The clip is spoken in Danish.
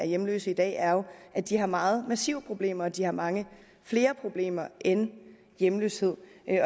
hjemløse i dag er jo at de har meget massive problemer og at de har mange flere problemer end hjemløshed